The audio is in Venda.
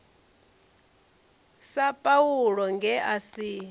sa paulo nge a si